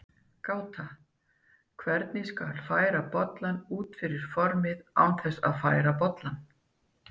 Gáta: Hvernig skal færa bollann út fyrir formið án þess að færa bollann?